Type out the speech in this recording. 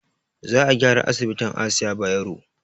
Za a gyara asibitin asiya bayero